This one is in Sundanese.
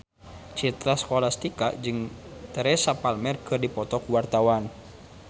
Citra Scholastika jeung Teresa Palmer keur dipoto ku wartawan